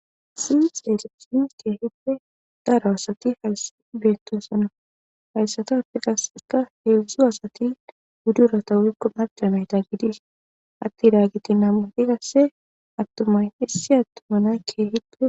Sence hedzdzu asati idk gididi